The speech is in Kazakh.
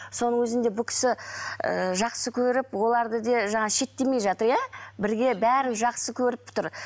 соның өзінде бұл кісі і жақсы көріп оларды да жаңа шектемей жатыр иә бірге бәрін жақсы көріп тұр